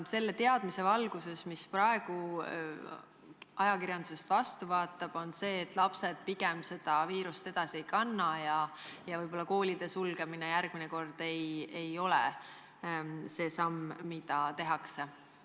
Või lähtutakse teadmisest, mis praegu ajakirjandusest vastu vaatab, et lapsed pigem seda viirust edasi ei kanna ja võib-olla koolide sulgemine järgmine kord ei ole see samm, mis astutakse?